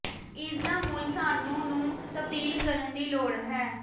ਇਸ ਦਾ ਮੁੱਲ ਸਾਨੂੰ ਨੂੰ ਤਬਦੀਲ ਕਰਨ ਦੀ ਲੋੜ ਹੈ